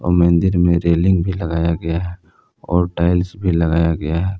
मंदिर में रेलिंग भी लगाया गया है और टाइल्स भी लगाया गया है।